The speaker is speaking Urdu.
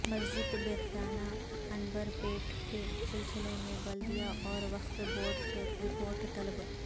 مسجد یکخانہ عنبر پیٹ کے سلسلہ میں بلدیہ اور وقف بورڈ سے رپورٹ طلب